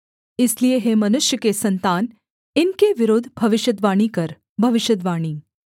इसलिए हे मनुष्य के सन्तान इनके विरुद्ध भविष्यद्वाणी कर भविष्यद्वाणी